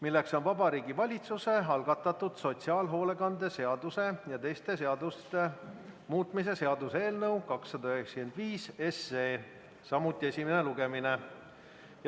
See on Vabariigi Valitsuse algatatud sotsiaalhoolekande seaduse ja teiste seaduste muutmise seaduse eelnõu 295, samuti esimene lugemine.